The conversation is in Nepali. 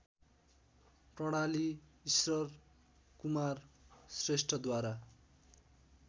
प्रणाली ईश्वरकुमार श्रेष्ठद्वारा